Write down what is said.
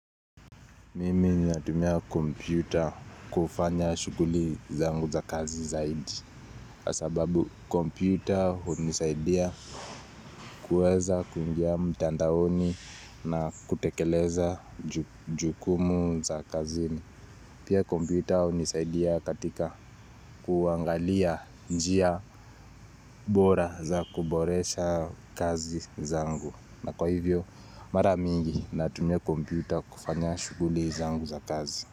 Mimi natumia kompyuta kufanya shuguli zangu za kazi zaidi kwa sababu kompyuta unisaidia kuweza kuingia mtandaoni na kutekeleza jukumu za kazi Pia kompyuta unisaidia katika kuangalia njia bora za kuboresha kazi zangu na kwa hivyo mara mingi natumia kompyuta kufanya shuguli zangu za kazi.